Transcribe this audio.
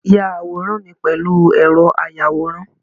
Ya àwòrán mi pèlú ẹ̀rọ ayàwòrán